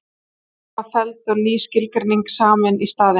Tillagan var felld og ný skilgreining samin í staðinn.